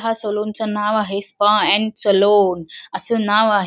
हा सलून च नाव आहे स्पा अँड सलोन अस नाव आहे.